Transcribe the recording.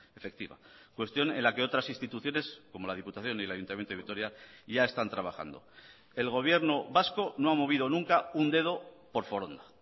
efectiva cuestión en la que otras instituciones como la diputación y el ayuntamiento de vitoria ya están trabajando el gobierno vasco no ha movido nunca un dedo por foronda